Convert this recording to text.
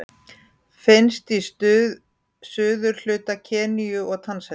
Finnst í suðurhluta Keníu og Tansaníu.